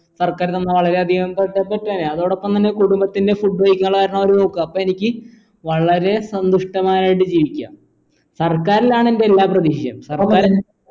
സർക്കാർ നമ്മളെ വളരെയധികം അതോടപ്പം തന്നെ കുടുംബത്തിൻ്റെ food കഴിക്കാനുള്ള കാരണോ അവർ നോക്കാ അപ്പ എനിക്കീ വളരെ സന്തുഷ്ടമായയിൽ ജീവിക്കാ സർക്കാരിലാണെൻ്റെ എല്ലാ പ്രതീക്ഷയും